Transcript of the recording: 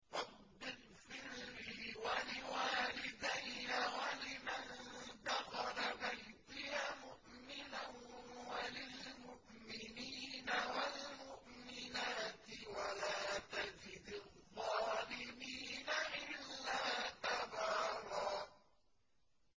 رَّبِّ اغْفِرْ لِي وَلِوَالِدَيَّ وَلِمَن دَخَلَ بَيْتِيَ مُؤْمِنًا وَلِلْمُؤْمِنِينَ وَالْمُؤْمِنَاتِ وَلَا تَزِدِ الظَّالِمِينَ إِلَّا تَبَارًا